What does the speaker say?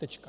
Tečka.